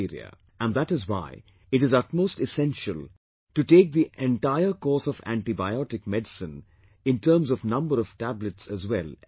And that is why, it is utmost essential to take the entire course of antibiotic medicine in terms of number of tablets as well as days